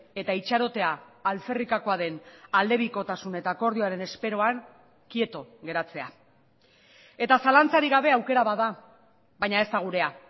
eta itxarotea alferrikakoa den aldebikotasun eta akordioaren esperoan kieto geratzea eta zalantzarik gabe aukera bat da baina ez da gurea